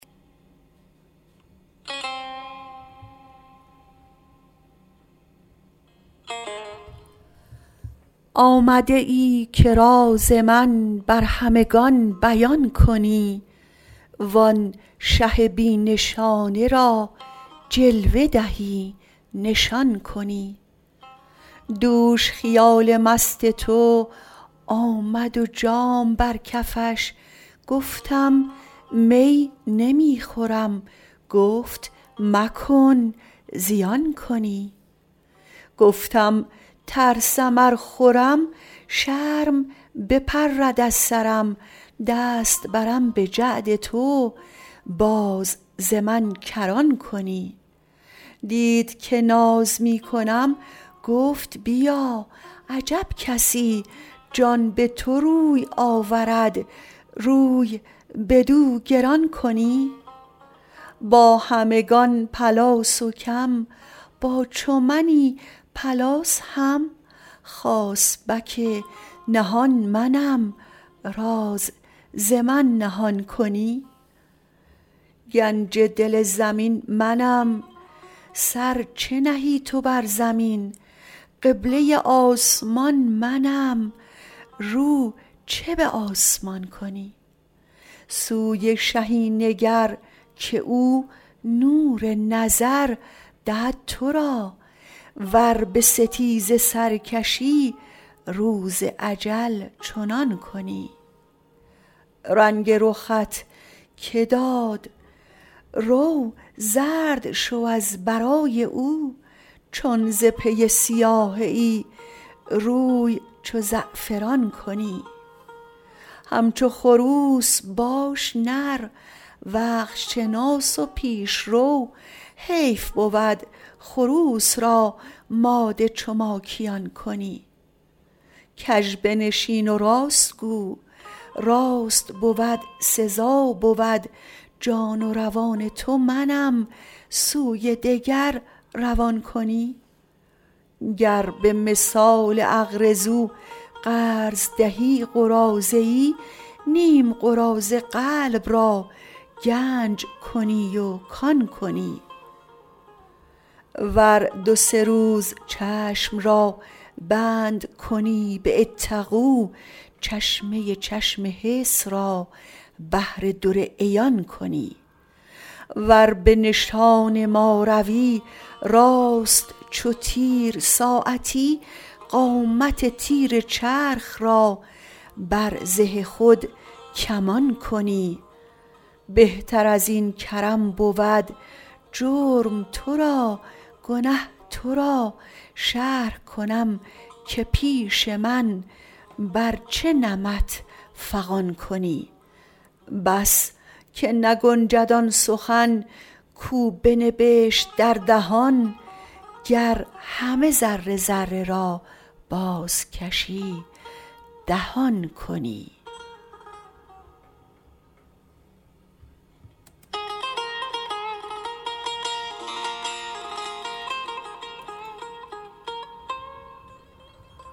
آمده ای که راز من بر همگان بیان کنی و آن شه بی نشانه را جلوه دهی نشان کنی دوش خیال مست تو آمد و جام بر کفش گفتم می نمی خورم گفت مکن زیان کنی گفتم ترسم ار خورم شرم بپرد از سرم دست برم به جعد تو باز ز من کران کنی دید که ناز می کنم گفت بیا عجب کسی جان به تو روی آورد روی بدو گران کنی با همگان پلاس و کم با چو منی پلاس هم خاصبک نهان منم راز ز من نهان کنی گنج دل زمین منم سر چه نهی تو بر زمین قبله آسمان منم رو چه به آسمان کنی سوی شهی نگر که او نور نظر دهد تو را ور به ستیزه سر کشی روز اجل چنان کنی رنگ رخت که داد رو زرد شو از برای او چون ز پی سیاهه ای روی چو زعفران کنی همچو خروس باش نر وقت شناس و پیش رو حیف بود خروس را ماده چو ماکیان کنی کژ بنشین و راست گو راست بود سزا بود جان و روان تو منم سوی دگر روان کنی گر به مثال اقرضوا قرض دهی قراضه ای نیم قراضه قلب را گنج کنی و کان کنی ور دو سه روز چشم را بند کنی به اتقوا چشمه چشم حس را بحر در عیان کنی ور به نشان ما روی راست چو تیر ساعتی قامت تیر چرخ را بر زه خود کمان کنی بهتر از این کرم بود جرم تو را گنه تو را شرح کنم که پیش من بر چه نمط فغان کنی بس که نگنجد آن سخن کو بنبشت در دهان گر همه ذره ذره را بازکشی دهان کنی